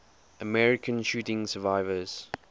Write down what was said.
american shooting survivors